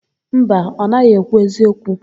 Mba, ọ naghị ekwu eziokwu.